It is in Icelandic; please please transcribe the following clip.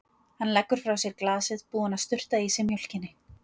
Hann leggur frá sér glasið, búinn að sturta í sig mjólkinni.